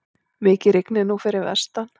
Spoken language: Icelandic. Mikið rignir nú fyrir vestan.